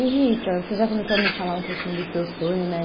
E Rita, você já começou a me falar um pouquinho do seu sonho, né?